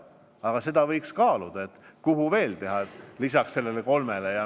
Aga seda võiks kaaluda, kuhu veel peatused teha lisaks neile kolmele.